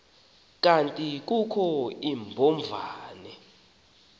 kanti kukho iimbovane